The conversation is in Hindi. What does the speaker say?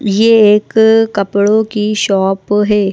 ये एक कपड़ों की शॉप है।